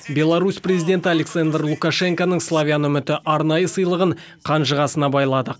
беларусь президенті александр лукашенконың славян үміті арнайы сыйлығын қанжығасына байлады